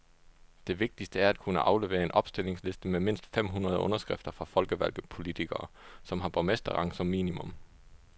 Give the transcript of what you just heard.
Det vigtigste er at kunne aflevere en opstillingsliste med mindst fem hundrede underskrifter fra folkevalgte politikere, som har borgmesterrang som minimum.